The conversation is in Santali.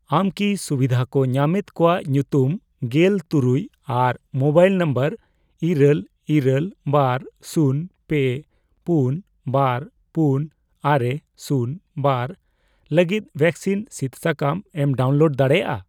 ᱟᱢ ᱠᱤ ᱥᱩᱵᱤᱫᱷᱟ ᱠᱚ ᱧᱟᱢᱮᱫ ᱠᱚᱣᱟᱜ ᱧᱩᱛᱩᱢ ᱜᱮᱞ ᱛᱩᱨᱩᱭ ᱟᱨ ᱢᱳᱵᱟᱭᱤᱞ ᱱᱚᱢᱵᱚᱨ ᱤᱨᱟᱹᱞ, ᱤᱨᱟᱹᱞ ,ᱵᱟᱨ, ᱥᱩᱱ, ᱯᱮ ,ᱯᱩᱱ, ᱵᱟᱨ, ᱯᱩᱱ, ᱟᱨᱮ, ᱥᱩᱱ, ᱵᱟᱨ ᱞᱟᱹᱜᱤᱫ ᱵᱷᱮᱠᱥᱤᱱ ᱥᱤᱫ ᱥᱟᱠᱟᱢ ᱮᱢ ᱰᱟᱣᱩᱱᱞᱳᱰ ᱫᱟᱲᱮᱭᱟᱜᱼᱟ ?